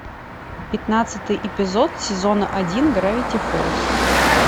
пятнадцатый эпизод сезона один гравити фолз